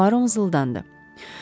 Puaro mızıldandı.